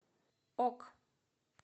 ок